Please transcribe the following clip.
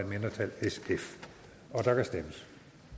mindretal og der kan stemmes